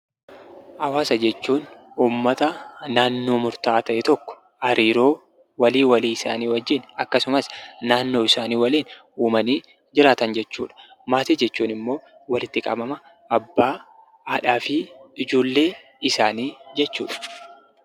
Hawaasa jechuun uummata naannoo murtaa'aa ta'e tokko hariiroo walii walii isaanii wajjin akkasumas naannoo isaanii waliin uumanii jiraatan jechuudha. Maatii jechuun immoo walitti qabama abbaa, haadhaafi ijoollee isaanii jechuudha.